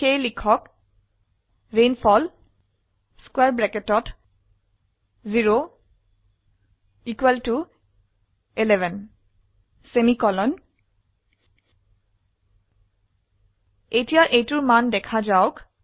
সেয়ে লিখক ৰেইনফল 0 11 এতিয়া এইটোৰ মান দেখা যাওক